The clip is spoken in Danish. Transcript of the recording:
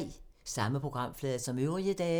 Samme programflade som øvrige dage